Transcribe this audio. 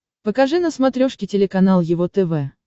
покажи на смотрешке телеканал его тв